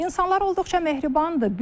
İnsanlar olduqca mehribandır.